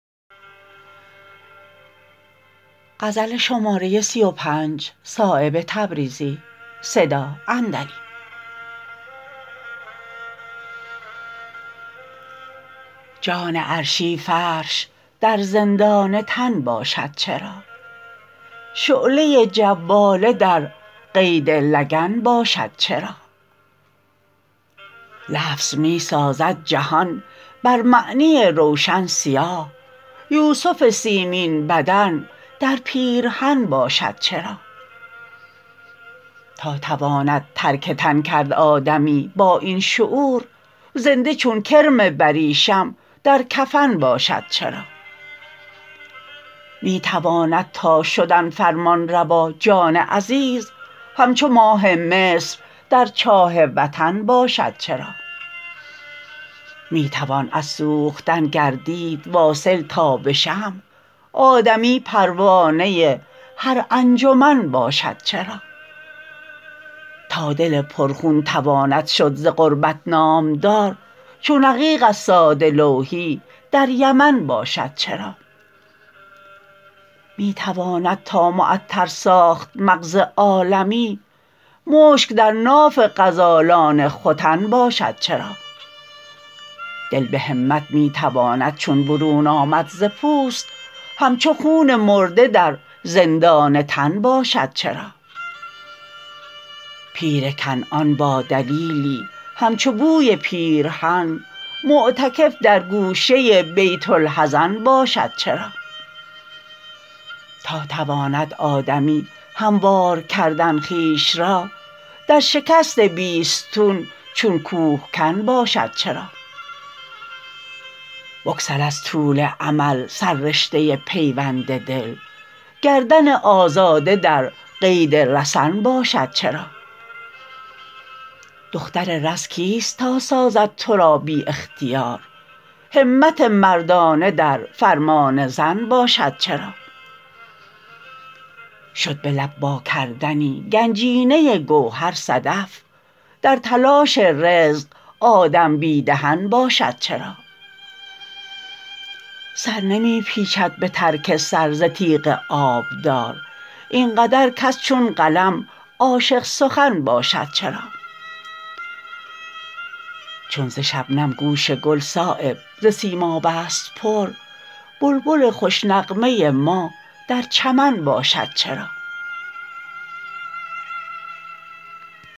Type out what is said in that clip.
جان عرشی فرش در زندان تن باشد چرا شعله جواله در قید لگن باشد چرا لفظ می سازد جهان بر معنی روشن سیاه یوسف سیمین بدن در پیرهن باشد چرا تا تواند ترک تن کرد آدمی با این شعور زنده چون کرم بریشم در کفن باشد چرا می تواند تا شدن فرمانروا جان عزیز همچو ماه مصر در چاه وطن باشد چرا می توان از سوختن گردید واصل تا به شمع آدمی پروانه هر انجمن باشد چرا تا دل پرخون تواند شد ز غربت نامدار چون عقیق از ساده لوحی در یمن باشد چرا می تواند تا معطر ساخت مغز عالمی مشک در ناف غزالان ختن باشد چرا دل به همت میتواند چون برون آمد ز پوست همچو خون مرده در زندان تن باشد چرا پیر کنعان با دلیلی همچو بوی پیرهن معتکف در گوشه بیت الحزن باشد چرا تا تواند آدمی هموار کردن خویش را در شکست بیستون چون کوهکن باشد چرا بگسل از طول امل سر رشته پیوند دل گردن آزاده در قید رسن باشد چرا دختر رز کیست تا سازد ترا بی اختیار همت مردانه در فرمان زن باشد چرا شد به لب وا کردنی گنجینه گوهر صدف در تلاش رزق آدم بی دهن باشد چرا سر نمی پیچد به ترک سر ز تیغ آبدار این قدر کس چون قلم عاشق سخن باشد چرا چون ز شبنم گوش گل صایب ز سیماب است پر بلبل خوش نغمه ما در چمن باشد چرا